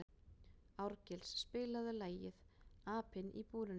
Árgils, spilaðu lagið „Apinn í búrinu“.